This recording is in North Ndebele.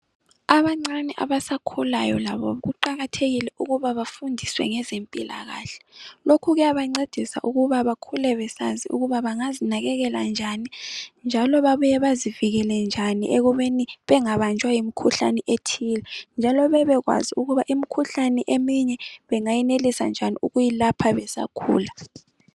Abancane abasakhulayo labo kuqakathekile ukuba bafundiswe ngezempilakahle, lokhu kuyabancedisa ukuba bakhule besazi ukuba bangazinakekela njani njalo babuye bazivekele njani ekubeni bengabanjwa yimikhuhlane ethile njalo bebekwazi ukuba imikhuhlane eminye bengayenelisa njani ukuyilapha besakhula